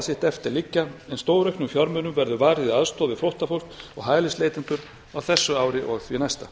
sitt eftir liggja en stórauknum fjármunum verður varið í aðstoð við flóttafólk og hælisleitendur á þessu ári og því næsta